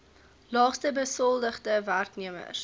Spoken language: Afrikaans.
laagste besoldigde werknemers